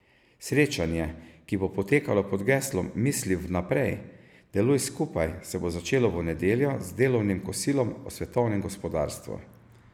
Srečanje, ki bo potekalo pod geslom Misli vnaprej, deluj skupaj, se bo začelo v nedeljo z delovnim kosilom o svetovnem gospodarstvu.